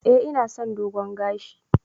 Eh ina son dogon gashi.